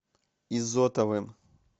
изотовым